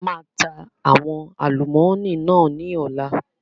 A máa ta àwọn àlùmọ́nì náà ni ọ̀la